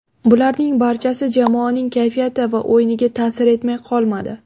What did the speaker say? Bularning barchasi jamoaning kayfiyati va o‘yiniga ta’sir etmay qolmadi.